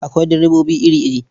Akwai direbobi iri-iri.